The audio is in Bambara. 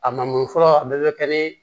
A mago fɔlɔ a bɛɛ bɛ kɛ ni